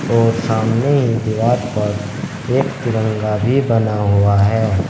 और सामने ही दीवार पर एक तिरंगा भी बना हुआ है।